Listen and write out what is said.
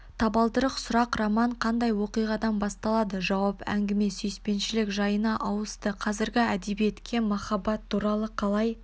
табалдырық сұрақ роман қандай оқиғадан басталады жауап әңгіме сүйіспеншілік жайына ауысты қазіргі әдебиетке махаббат туралы қалай